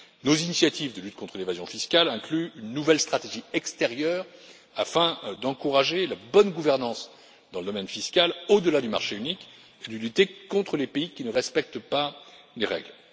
Nos initiatives de lutte contre l'évasion fiscale incluent une nouvelle stratégie extérieure afin d'encourager la bonne gouvernance dans le domaine fiscal, au delà du marché unique, et de lutter contre les pays qui ne respectent pas les règles.